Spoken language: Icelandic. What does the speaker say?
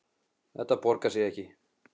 Þetta borgar sig ekki.